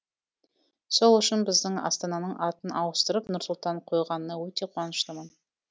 сол үшін біздің астананың атын ауыстырып нұрсұлтан қойғанына өте қуаныштымын